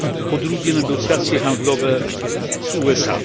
Po drugie, negocjacje handlowe z USA.